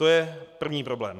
To je první problém.